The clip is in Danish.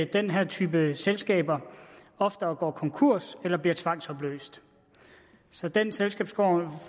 den her type selskaber oftere går konkurs eller bliver tvangsopløst så den selskabsform